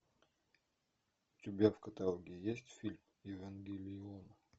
у тебя в каталоге есть фильм евангелион